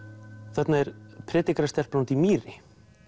þarna er predikarastelpan úti í mýri